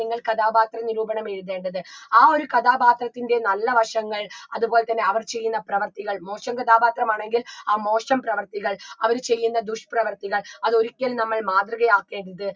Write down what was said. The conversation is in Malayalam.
നിങ്ങൾ കഥാപാത്ര നിരൂപണം എഴുതേണ്ടത് ആ ഒരു കഥാപാത്രത്തിൻറെ നല്ല വശങ്ങൾ അത്പോലെ തന്നെ അവർ ചെയ്യുന്ന പ്രവർത്തികൾ മോശം കഥാപാത്രമാണെങ്കിൽ ആ മോശം പ്രവർത്തികൾ അവര് ചെയ്യുന്ന ദുഷ്പ്രവർത്തികൾ അതൊരിക്കലും നമ്മൾ മാതൃകയാക്കരുത്